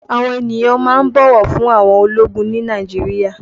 Àwọn ènìyàn máa ń bọ̀wọ̀ fún àwọn ológun ni Nàìjíríà